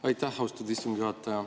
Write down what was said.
Aitäh, austatud istungi juhataja!